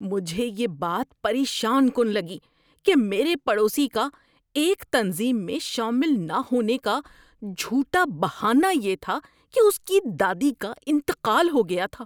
مجھے یہ بات پریشان کن لگی کہ میرے پڑوسی کا ایک تنظیم میں شامل نہ ہونے کا جھوٹا بہانہ یہ تھا کہ اس کی دادی کا انتقال ہو گیا تھا۔